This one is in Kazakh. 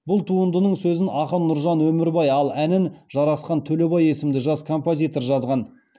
бұл туындының сөзін ақын нұржан өмірбай ал әнін жарасхан төлебай есімді жас композитор жазған